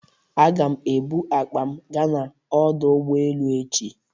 Aga m ebụ akpa m gaa n'ọdọ ụgbọelu echi